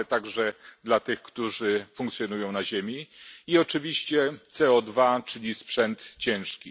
ale także dla tych, którzy funkcjonują na ziemi, i oczywiście CO2, czyli sprzęt ciężki.